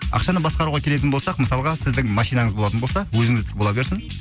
ақшаны басқаруға келетін болсақ мысалға сіздің машинаңыз болатын болса өзіңіздікі бола берсін